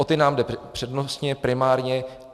O ty nám jde přednostně, primárně.